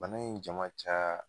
Bana in ja man ca